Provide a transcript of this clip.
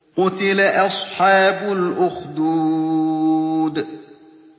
قُتِلَ أَصْحَابُ الْأُخْدُودِ